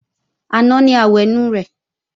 Àná ni àwẹ̀nù rẹ̀